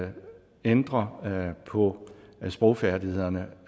ændre på sprogfærdighederne